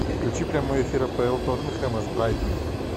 включи прямой эфир апл тоттенхэма с брайтоном